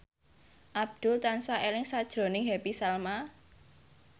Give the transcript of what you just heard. Abdul tansah eling sakjroning Happy Salma